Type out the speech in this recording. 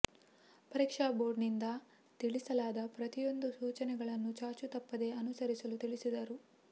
ಪರೀಕ್ಷಾ ಬೋರ್ಡನಿಂದ ತಿಳಿಸಲಾದ ಪ್ರತಿಯೊಂದು ಸೂಚನೆಗಳನ್ನು ಚಾಚೂ ತಪ್ಪದೇ ಅನುಸರಿಸಲು ತಿಳಿಸಿದರು